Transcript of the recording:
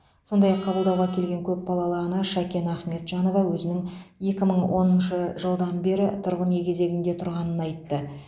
сондай ақ қабылдауға келген көпбалалы ана шәкен ахметжанова өзінің екі мың оныншы жылдан бері тұрғын үй кезегінде тұрғанын айтты